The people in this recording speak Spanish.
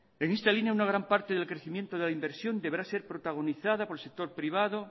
en esta línea una gran parte del crecimiento de la inversión deberá ser protagonizada por el sector privado